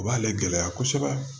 O b'ale gɛlɛya kosɛbɛ